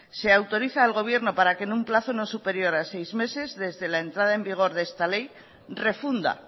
se autoriza al gobierno para que en un plazo no superior a seis meses desde la entrada en vigor de esta ley refunda